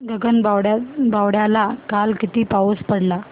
गगनबावड्याला काल किती पाऊस पडला